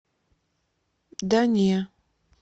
да не